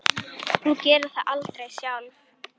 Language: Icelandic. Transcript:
Hún gerði það aldrei sjálf.